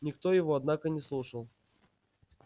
никто его однако не слушал